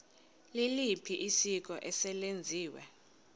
liliphi isiko eselenziwe